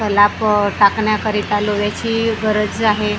सलाप टाकण्याकरिता लोह्याची गरज आहे.